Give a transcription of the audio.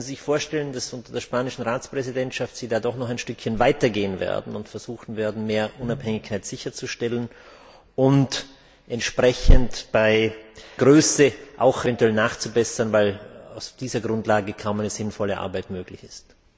Können Sie sich vorstellen, dass Sie unter der spanischen Ratspräsidentschaft da doch noch ein Stückchen weitergehen und versuchen werden, mehr Unabhängigkeit sicherzustellen und entsprechend bei der Größe eventuell nachzubessern, weil auf dieser Grundlage kaum eine sinnvolle Arbeit möglich ist?